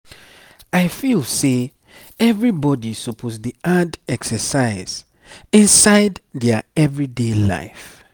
i feel say everybody suppose dey add exercise inside their everyday life.